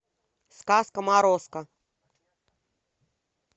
сказка морозко